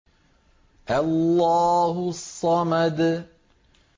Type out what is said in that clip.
اللَّهُ الصَّمَدُ